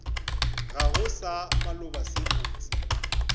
gago sa maloba se botse